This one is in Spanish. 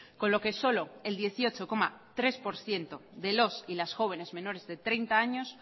con lo que solo el dieciocho coma tres por ciento de los y las jóvenes menores de treinta años